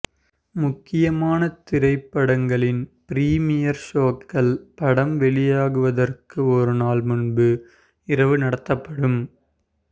முக்கியமான திரைப்படங்களின் ப்ரீமியர் ஷோக்கள் படம் வெளியாவதற்கு ஒருநாள் முன்பு இரவு நடத்தப்படும்